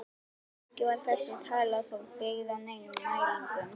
Ekki var þessi tala þó byggð á neinum mælingum.